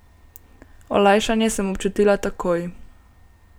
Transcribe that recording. Olajšanje sem občutila takoj.